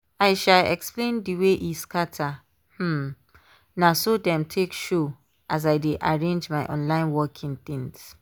i um explain the way e scatter - um na so dem take show as i dey arrange my online working things